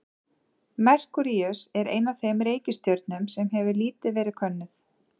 Merkúríus er ein af þeim reikistjörnum sem hefur lítið verið könnuð.